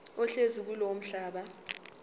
ohlezi kulowo mhlaba